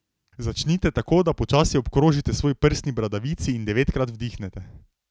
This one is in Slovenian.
Začnite tako, da počasi obkrožite svoji prsni bradavici in devetkrat vdihnete.